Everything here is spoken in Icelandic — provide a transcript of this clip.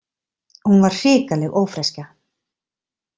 Hún var hrikaleg ófreskja.